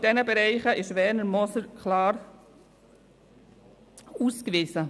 In diesen Bereichen hat sich Werner Moser klar ausgewiesen.